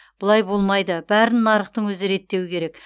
бұлай болмайды бәрін нарықтың өзі реттеуі керек